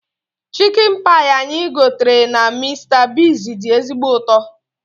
Chikin pai anyị gotere na Mista Bigz dị ezigbo ụtọ